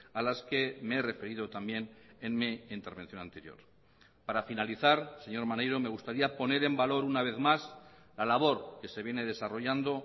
a las que me he referido también en mi intervención anterior para finalizar señor maneiro me gustaría poner en valor una vez más la labor que se viene desarrollando